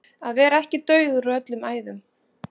Að vera ekki dauður úr öllum æðum